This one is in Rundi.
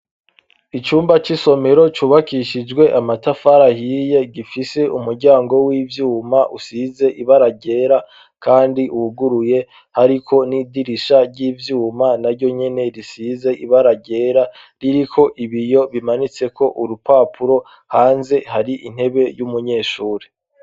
Icumba c'isomero cubakishijwe amatafari ahiye, gifise umuryango w'ivyuma usize ibara ryera kandi wuguruye, hariko n'idirisha ry'ivyuma na ryo nyene risize ibara ryera ririko ibiyo bimanitse ko urupapuro, hanze hari intebe y'umunyeshuri.